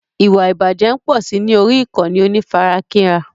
Ìwà ìbàjẹ́ ń pọ̀si ní orí ìkànnì onífarakínra.